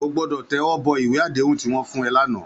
Ó gbòdò tèwòbò iwé àdéhún tiwòn fún è làná